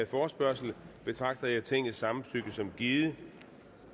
forespørgsel betragter jeg tingets samtykke som givet